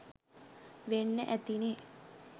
වෙන්න ඇතිනේ.